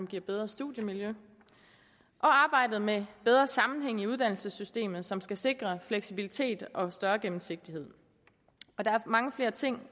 giver bedre studiemiljø og arbejdet med bedre sammenhæng i uddannelsessystemet som skal sikre fleksibilitet og større gennemsigtighed der er mange flere ting